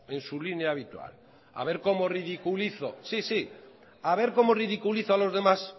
en su línea habitual a ver como ridiculizo sí sí a ver como ridiculizo a los demás